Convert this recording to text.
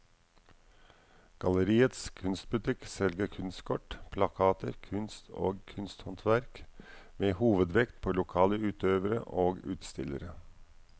Galleriets kunstbutikk selger kunstkort, plakater, kunst og kunsthåndverk med hovedvekt på lokale utøvere og utstillere.